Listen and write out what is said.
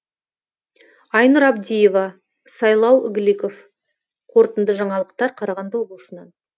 айнұр абдиева сайлау игликов қорытынды жаңалықтар қарағанды облысынан